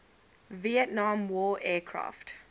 vietnam war aircraft